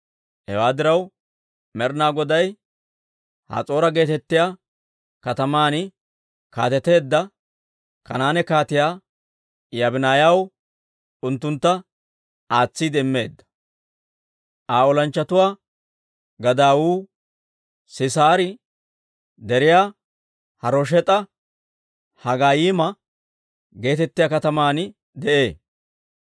Hewaa diraw, Med'inaa Goday Has'oora geetettiyaa kataman kaateteedda Kanaane Kaatiyaa Yaabinayyaw unttuntta aatsiide immeedda; Aa olanchchatuwaa gadaawu Sisaari Deriya-Harosheeta-Hagoyiima geetettiyaa kataman de'ee.